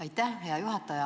Aitäh, hea juhataja!